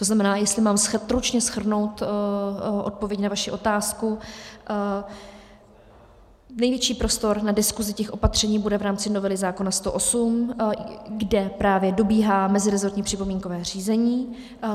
To znamená, jestli mám stručně shrnout odpověď na vaši otázku, největší prostor na diskuzi těch opatření bude v rámci novely zákona 108, kde právě dobíhá mezirezortní připomínkové řízení.